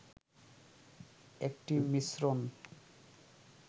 একটি মিশ্রণ